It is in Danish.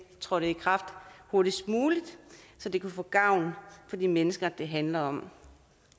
trådte i kraft hurtigst muligt så det kunne få gavn for de mennesker det handler om